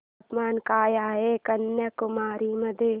तापमान काय आहे कन्याकुमारी मध्ये